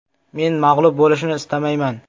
Men mag‘lub bo‘lishni istamayman.